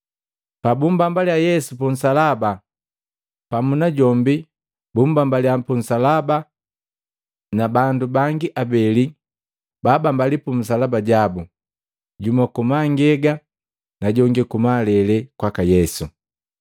Pabumbambaliya Yesu punsalaba, pamu najombi bapumbambaliya punsalaba na bandu bangi abeli babambaliya pumisalaba jabu, jumu kumangega na jongi kumalele kwaka Yesu.